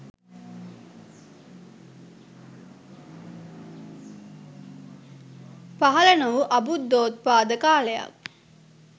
පහළ නොවූ අබුද්ධෝත්පාද කාලයක්.